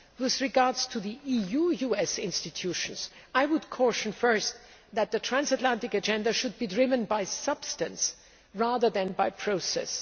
Concerning EU US institutions, I would caution, first, that the transatlantic agenda should be driven by substance rather than by process.